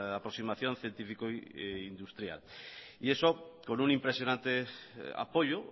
aproximación científico e industrial y eso con un impresionante apoyo